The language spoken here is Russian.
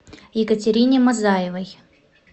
екатерине мазаевой